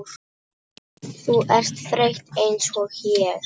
Þú ert þreytt einsog ég.